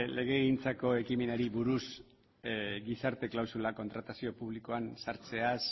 legegintzako ekimenari buruz gizarte klausula kontratazio publikoan sartzeaz